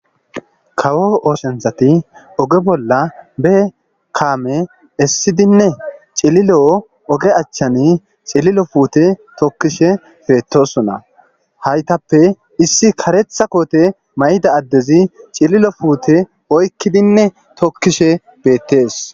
Kawo ooshenthati oge bolla be kaame essidinne cililo oge achchani cililo fuute tokkishe feetosona haytappe issi karetha koote mayda addezi cililo fuute oykkidinne tokkishe beettees.